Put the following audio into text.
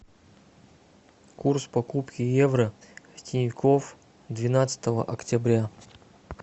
курс покупки евро в тинькофф двенадцатого октября